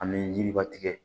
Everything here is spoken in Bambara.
An bɛ yiriba tigɛ